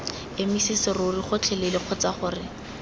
emise serori gotlhelele kgotsa gore